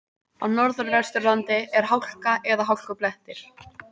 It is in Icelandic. Á Norðvesturlandi er hálka eða hálkublettir